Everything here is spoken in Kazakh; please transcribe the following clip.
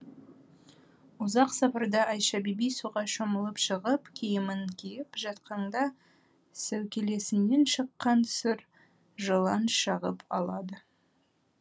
ұзақ сапарда айша бибі суға шомылып шығып киімін киіп жатқанда сәукелесінен шыққан сұр жылан шағып алады